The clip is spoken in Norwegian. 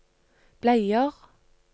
bleier